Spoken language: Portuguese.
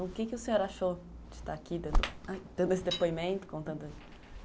O quê que o senhor achou de estar aqui dando esse depoimento?